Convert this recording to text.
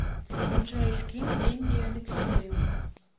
джой скинь деньги алексею